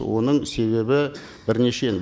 оның себебі бірнеше